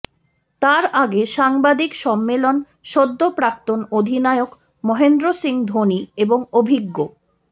তার আগে সাংবাদিক সম্মেলেন সদ্য প্রাক্তন অধিনায়ক মহেন্দ্র সিং ধোনি এবং অভিজ্ঞ